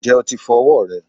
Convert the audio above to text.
Ǹjẹ́ o ti fọ ọwọ́ rẹ?